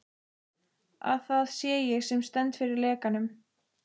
Að það sé ég, sem stend fyrir lekanum.